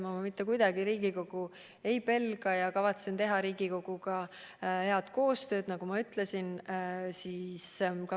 Ma mitte kuidagi Riigikogu ei pelga ja kavatsen teha Riigikoguga head koostööd, nagu ma ütlesin.